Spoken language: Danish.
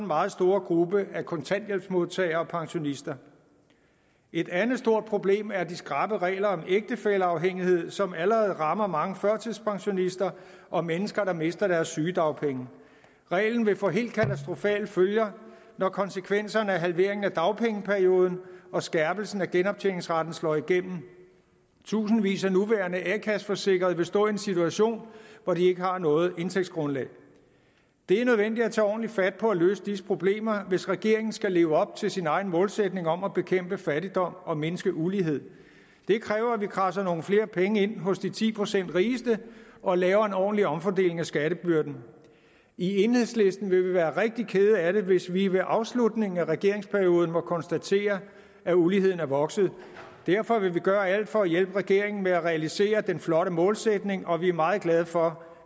meget store gruppe af kontanthjælpsmodtagere og pensionister et andet stort problem er de skrappe regler om ægtefælleafhængighed som allerede rammer mange førtidspensionister og mennesker der mister deres sygedagpenge reglen vil få helt katastrofale følger når konsekvenserne af halveringen af dagpengeperioden og skærpelsen af genoptjeningsretten slår igennem tusindvis af nuværende a kasse forsikrede vil stå i en situation hvor de ikke har noget indtægtsgrundlag det er nødvendigt at tage ordentligt fat på at løse disse problemer hvis regeringen skal leve op til sin egen målsætning om at bekæmpe fattigdom og mindske ulighed det kræver at vi kradser nogle flere penge ind hos de ti procent rigeste og laver en ordentlig omfordeling af skattebyrden i enhedslisten vil vi være rigtig kede af det hvis vi ved afslutningen af regeringsperioden må konstatere at uligheden er vokset og derfor vil vi gøre alt for at hjælpe regeringen med at realisere den flotte målsætning og vi er meget glade for